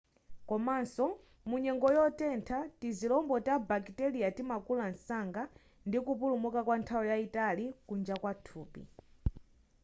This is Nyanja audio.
komanso mu nyengo yotentha tizilombo ta bakiteriya timakula msanga ndi kupulumuka kwa nthawi yayitali kunja kwa thupi